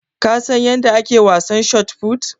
Ka San yanda ake wasan shotput?